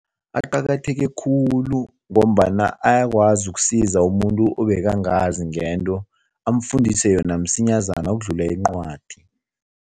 Aqakatheke khulu ngombana ayakwazi ukusiza umuntu obekangazi ngento, amfundise yona msinyazana ukudlula incwadi.